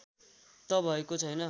त भएको छैन